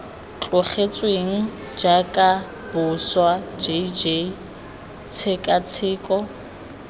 tlogetsweng jaaka boswa jj tshekatsheko